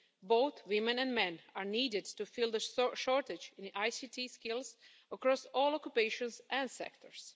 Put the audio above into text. Both women and men are needed to fill the shortage in ICT skills across all occupations and sectors.